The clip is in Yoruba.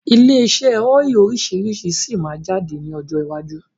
Ọ́ílì ilé iṣẹ́ oríṣiríṣi síí má jáde ní ọjọ́ iwájú